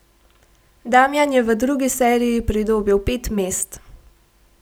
Damjan je v drugi seriji pridobil pet mest.